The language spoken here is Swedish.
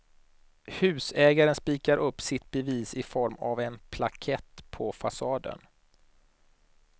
Husägaren spikar upp sitt bevis i form av en plakett på fasaden.